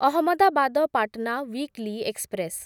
Ahmedabad Patna weekly express